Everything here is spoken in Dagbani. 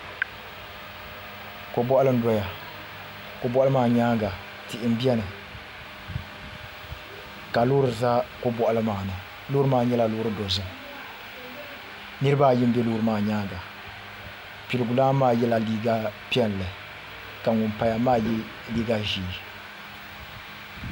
Ko boɣali n doya ko boɣali maa nyaanga tihi n biɛni ka loori ʒɛ ko boɣali maa ni loori maa nyɛla loori dozim nirabaayi n bɛ loori maa nyaanga piligu lan maa yɛla liiga piɛlli ka ŋun paya maa yɛ liiga ʒiɛ